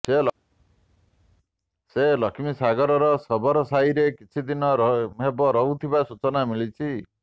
ସେ ଲକ୍ଷ୍ମୀସାଗର ଶବରସାହିରେ କିଛି ଦିନ ହେବ ରହୁଥିବା ସୂଚନା ମିଳିଛି